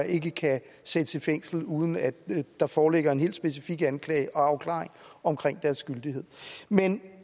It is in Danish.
ikke kan sættes i fængsel uden at der foreligger en helt specifik anklage og afklaring omkring dens gyldighed men